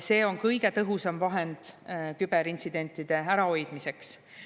See on kõige tõhusam vahend küberintsidentide ärahoidmiseks.